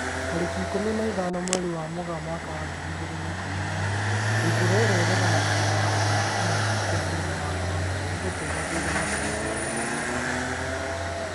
Tarĩki ikũmi na ithano mweri wa Mũgaa mwaka wa ngiri igĩrĩ na ikũmi na ĩmwe Ndutura irĩa 'ĩraregana na mawatho ma kĩng'ũki kĩa mũrimũ wa CORONA nĩ ĩgũtũra thutha wa kuonekana na rũũri rwa maheeni.